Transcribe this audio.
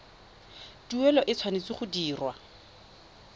tuelo e tshwanetse go dirwa